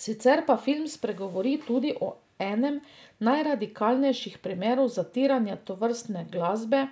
Sicer pa film spregovori tudi o enem najradikalnejših primerov zatiranja tovrstne glasbe